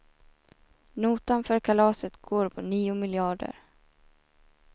Notan för kalaset går på nio miljarder.